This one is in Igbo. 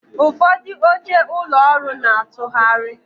Ụfọdụ oche ụlọ ọrụ na-atụgharị